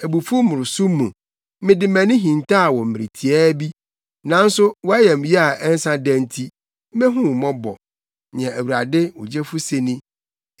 Abufuw mmoroso mu, mede mʼani hintaw wo mmere tiaa bi, nanso mʼayamye a ɛnsa da nti, mehu wo mmɔbɔ,” nea Awurade, wo Gyefo se ni.